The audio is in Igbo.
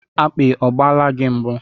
Akpi ọ gbaala gị mbụ?